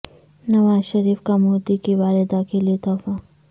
نواز شریف کا مودی کی والدہ کے لیے تحفہ